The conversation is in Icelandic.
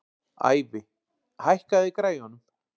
Ævi, hækkaðu í græjunum.